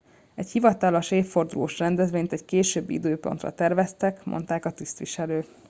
egy hivatalos évfordulós rendezvényt egy későbbi időpontra terveztek mondták a tisztviselők